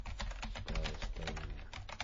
с т а я стайная